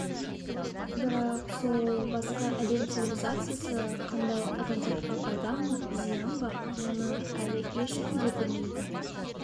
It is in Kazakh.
бірақ сол басқа әлем цивилизациясы қандай адамзатқа пайда ма зиян ба мұны әлі ешкім де білмейді